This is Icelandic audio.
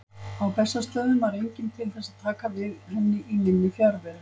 Á Bessastöðum var enginn til þess að taka við henni í minni fjarveru.